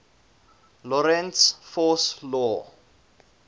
lorentz force law